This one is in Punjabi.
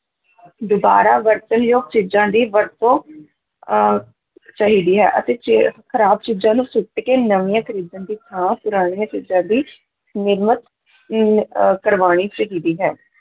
ਦੁਬਾਰਾ ਵਰਤਣਯੋਗ ਚੀਜਾਂ ਦੀ ਵਰਤੋਂ ਅਹ ਚਾਹੀਦਾ ਹੈ ਅਤੇ ਚ ਖ਼ਰਾਬ ਚੀਜਾਂ ਨੂੰ ਸੁੱਟ ਕੇ ਨਵੀਂਆਂ ਖਰੀਦਣ ਦੀ ਥਾਂ ਪੁਰਾਣੀਆਂ ਚੀਜ਼ਾਂ ਦੀ ਨਿਰਮਤ ਨੂੰ ਅਹ ਕਰਵਾਉਣੀ ਚਾਹੀਦੀ ਹੈ।